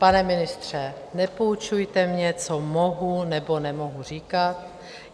Pane ministře, nepoučujte mě, co mohu nebo nemohu říkat.